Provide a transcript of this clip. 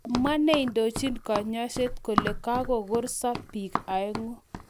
Kamwa neindojin konyoiset kole kakokorso bik oeng'u